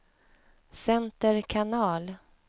center kanal